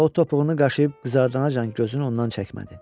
Və o topuğunu qaşıyıb qızartmayacaq gözünü ondan çəkmədi.